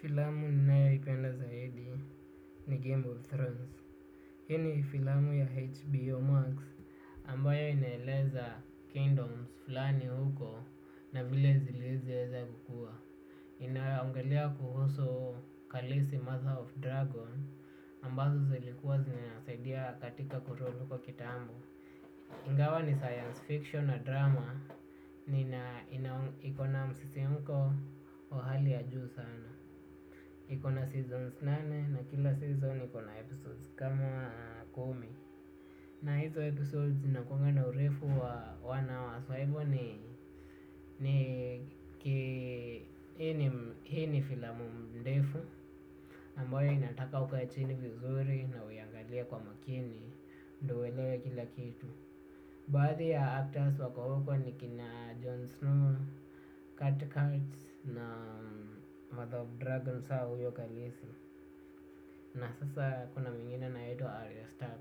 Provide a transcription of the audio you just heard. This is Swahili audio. Filamu ninayoipenda zaidi ni Game of Thrones. Hii ni filamu ya HBO Max ambayo inaeleza kingdoms fulani huko na vile zilizoweza kukua. Inayoongelia kuhusu kalisi Mother of Dragon ambazo zilikuwa zinasaidia katika ku rule huko kitambo. Ingawa ni science fiction na drama ni na iko msisimko wa hali ya juu sana. Iko na seasons nane na kila season iko na episodes kama kumi. Na hizo episodes inakunga na urefu wa one hour kwa hivyo ni hii ni filamu ndefu ambayo inataka ukae chini vizuri na uiangalie kwa makini. Ndo uelewe kila kitu. Baadhi ya actors wako huko ni kina Jon Snow, Kurt Kurtz na Mother of Dragons na sasa kuna mwingine anaitwa Aria Stark